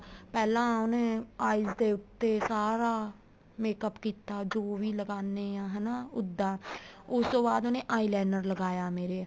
ਪਹਿਲਾਂ ਉਹਨੇ eyes ਦੇ ਉੱਤੇ ਸਾਰਾ makeup ਕੀਤਾ ਜੋ ਵੀ ਲਗਾਣੇ ਹਾਂ ਹੈਨਾ ਉੱਦਾ ਉਸ ਤੋਂ ਬਾਅਦ ਉਹਨੇ eyeliner ਲਗਾਇਆ ਮੇਰੇ